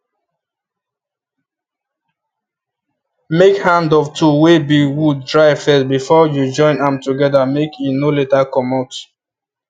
make hand of tool wey be wood dry first before you join am together make e no later comot